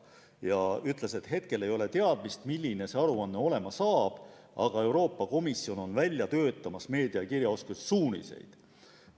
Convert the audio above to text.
Ta ütles, et hetkel ei ole teada, milline see aruanne olema saab, aga Euroopa Komisjon on välja töötamas meediakirjaoskuse suuniseid.